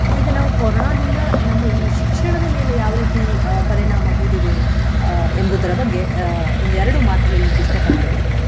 ಈಗ ನಾವು ಕೊರೋನಾದಿಂದ ನಮ್ಮ ಈ ಶಿಕ್ಷಣದ ಮೇಲೆ ಯಾವ ರೀತಿ ಅಹ್ ಪರಿಣಾಮ ಬೀರಿದೆ ಅಹ್ ಎಂಬುವುದರ ಅಹ್ ಬಗ್ಗೆ ಒಂದೆರಡು ಮಾತು ಹೇಳ್ಲಿಕ್ಕೆ ಇಷ್ಟ ಪಡ್ತೇನೆ.